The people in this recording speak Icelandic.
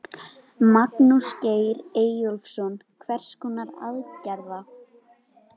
Magnús Geir Eyjólfsson: Hvers konar aðgerða?